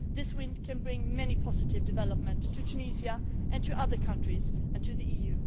This wind can bring many positive developments to Tunisia, to other countries, and to the EU.